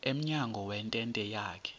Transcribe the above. emnyango wentente yakhe